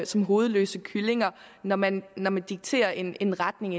som hovedløse kyllinger når man når man dikterer en en retning